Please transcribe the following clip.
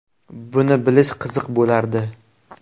Buni bilish qiziq bo‘lardi.